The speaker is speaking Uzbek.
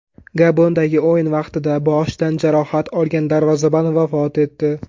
Gabondagi o‘yin vaqtida boshidan jarohat olgan darvozabon vafot etdi.